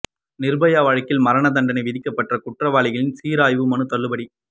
நிர்பயா வழக்கில் மரண தண்டனை விதிக்கப்பட்ட குற்றவாளிகளின் சீராய்வு மனு தள்ளுபடி